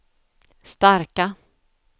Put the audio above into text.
starka